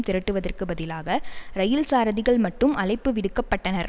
திரட்டுவதற்கு பதிலாக இரயில் சாரதிகள் மட்டும் அழைப்பு விடுக்கப்பட்டனர்